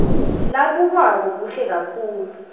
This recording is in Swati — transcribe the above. labukwako kuhle kakhulu